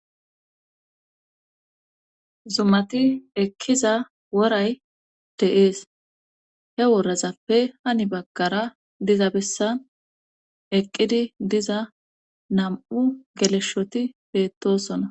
zumati ekkiza woray dee'es he worazappe hani baggara diza bessan eqqidi diza nam'u geleshshoti bettosona